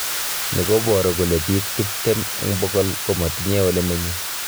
Ni koboru kole biik tiptem eng bokol komatinye ole menye